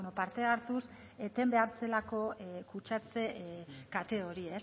parte hartuz eten behar zelako kutsatze kate hori